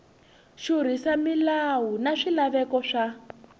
xurhisa milawu na swilaveko swa